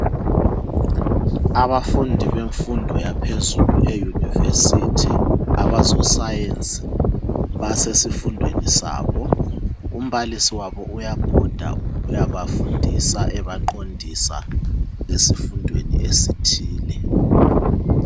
Abafundi bemfundo yaphezulu e university, abezo science basesifundweni sabo, umbalisi wabo uyabhoda uyabafundisa ebaqondisa esifundweni esithile.